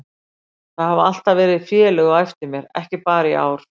Það hafa alltaf verið félög á eftir mér, ekki bara í ár.